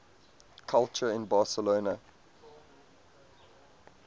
culture in barcelona